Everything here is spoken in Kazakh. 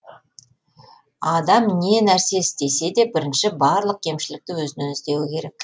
адам не нәрсе істесе де бірінші барлық кемшілікті өзінен іздеуі керек